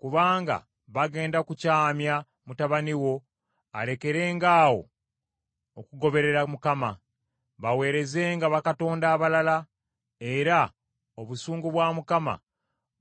Kubanga bagenda kukyamya mutabani wo alekerengaawo okugoberera Mukama , baweerezenga bakatonda abalala; era obusungu bwa Mukama